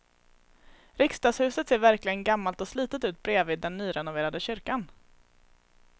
Riksdagshuset ser verkligen gammalt och slitet ut bredvid den nyrenoverade kyrkan.